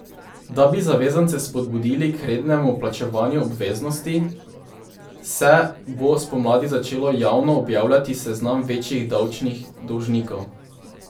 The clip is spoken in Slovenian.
Da bi zavezance spodbudili k rednemu plačevanju obveznosti, se bo spomladi začelo javno objavljati seznam večjih davčnih dolžnikov.